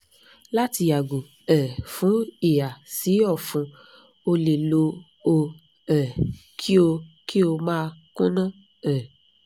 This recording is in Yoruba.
lati yago um fun hiha si ọfun o le lo o um ki o ki o ma kunna um